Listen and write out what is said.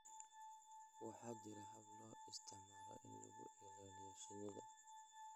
Waxaa jira habab loo isticmaalo in lagu ilaaliyo shinida